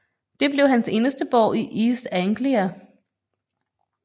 Det blev hans eneste borg i East Anglia